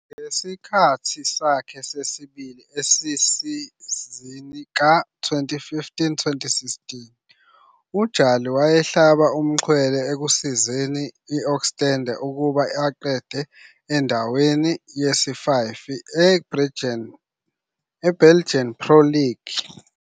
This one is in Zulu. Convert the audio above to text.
Ngesikhathi sakhe sesibili esesizini ka-2015-16,uJali wayehlaba umxhwele ekusizeni u-Oostende ukuba aqede endaweni yesi-5 kuBelgian Pro League.